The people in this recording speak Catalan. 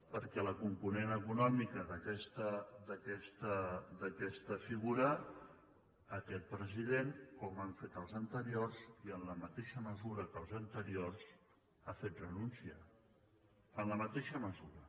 perquè la component econòmica d’aquesta figura aquest president com han fet els anteriors i en la mateixa mesura que els anteriors ha fet renúncia en la mateixa mesura